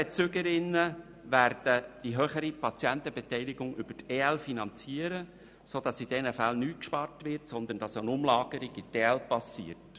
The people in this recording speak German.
Die EL-Bezügerinnen werden die höhere Patientenbeteiligung über die EL finanzieren, sodass in diesen Fällen nicht gespart wird, sondern nur eine Umlagerung in die EL geschieht.